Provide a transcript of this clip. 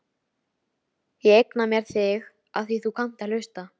Ég eigna mér þig afþvíað þú kannt að hlusta.